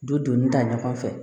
Du doni da ɲɔgɔn fɛ